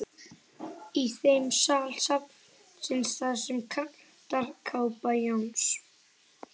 Í þeim sal safnsins, þar sem kantarakápa Jóns